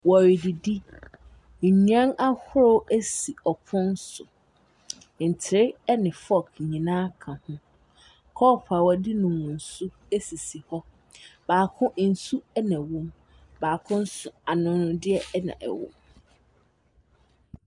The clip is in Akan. Wɔredidi, nnuane ahorow esi ɔpon so, ntere ɛne fɔk nyinaa ka ho. Kɔp a wɔde nom nsu esisi hɔ, baako ensu ɛna wom, baako nso anomdeɛ ɛna ɛwɔ mu.